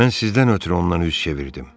Mən sizdən ötrü ondan üz çevirdim.